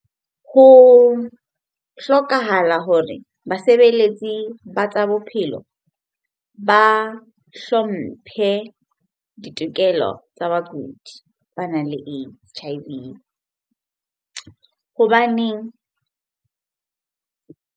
Ho hlokahala hore basebeletsi ba tsa bophelo ba hlomphe ditokelo tsa bakudi banang le H_I_V hobane .